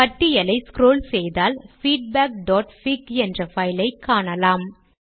பட்டியலை ஸ்க்ரோல் செய்தால் feedbackபிக் என்ற பைல் ஐக் காணலாம்